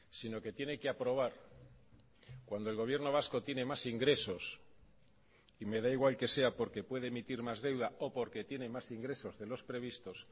sino que tiene que aprobar cuando el gobierno vasco tiene más ingresos y me da igual que sea porque puede emitir más deuda o porque tiene más ingresos de los previstos